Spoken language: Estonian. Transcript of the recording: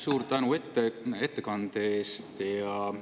Suur tänu ettekande eest!